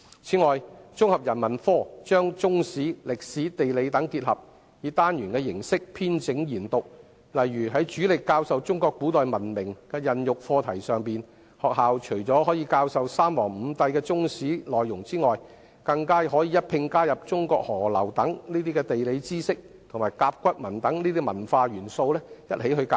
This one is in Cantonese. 此外，綜合人文科把中史、歷史、地理等結合，以單元形式編整研讀，例如在主力教授中國古代文明孕育的課題上，學校除了可以教授有關三皇五帝的內容，更可一併加入中國河流等地理知識和甲骨文等文化元素。